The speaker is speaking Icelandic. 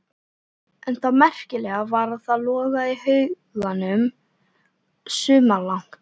En það merkilega var að það logaði í haugunum sumarlangt.